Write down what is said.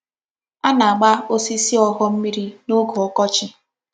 A na-agba osisi ogho mmiri n'oge okochi.